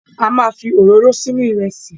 A ma fi òróró sínú Ìrẹ́sì